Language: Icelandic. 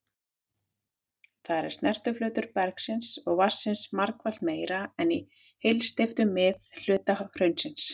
Þar er snertiflötur bergsins og vatnsins margfalt meiri en í heilsteyptum miðhluta hraunsins.